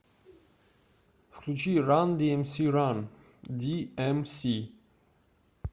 включи ран диэмси ран ди эм си